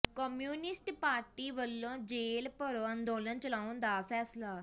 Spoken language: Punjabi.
ਕਮਿਊਨਿਸਟ ਪਾਰਟੀ ਵੱਲੋਂ ਜੇਲ੍ਹ ਭਰੋ ਅੰਦੋਲਨ ਚਲਾਉਣ ਦਾ ਫੈਸਲਾ